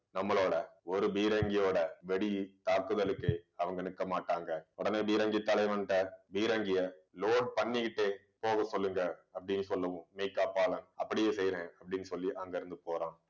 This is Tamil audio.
நம்மளோட ஒரு பீரங்கியோட வெடி தாக்குதலுக்கு அவங்க நிற்க மாட்டாங்க உடனே பீரங்கி தலைவன்ட்ட பீரங்கியை load பண்ணிக்கிட்டே போகச் சொல்லுங்க அப்படின்னு சொல்லுவோம் மெய்க்காப்பாளன் அப்படியே செய்யறேன் அப்படின்னு சொல்லி அங்கிருந்து போறான்